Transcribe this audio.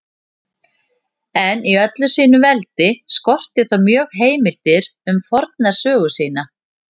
En í öllu sínu veldi skorti þá mjög heimildir um forna sögu sína.